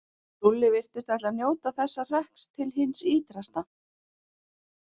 Lúlli virtist ætla að njóta þessa hrekks til hins ýtrasta.